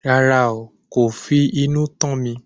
Rárá, kò fi inú tán mi